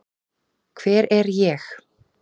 Hver er ég?